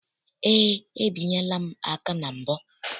Eé, ebinyela m aka na mbụ.